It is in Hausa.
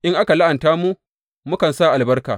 In aka la’anta mu, mukan sa albarka.